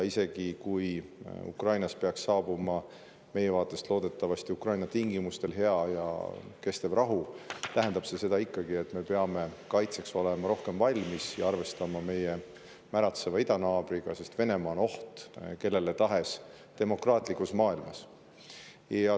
Isegi kui Ukrainas peaks saabuma loodetavasti Ukraina tingimustel ning meie vaatest hea ja kestev rahu, tähendab see ikkagi seda, et me peame olema kaitseks rohkem valmis ja arvestama meie märatseva idanaabriga, sest Venemaa on oht kellele tahes demokraatlikus maailmas.